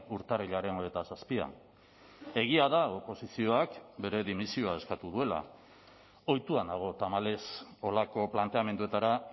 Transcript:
urtarrilaren hogeita zazpian egia da oposizioak bere dimisioa eskatu duela ohitua nago tamalez holako planteamenduetara